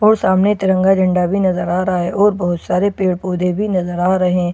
और सामने तिरंगा झंडा भी नजर आ रहा है और बहुत सारे पेड़ पौधे भी नजर आ रहे और --